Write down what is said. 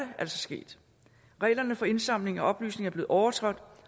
altså sket reglerne for indsamling af oplysninger er blevet overtrådt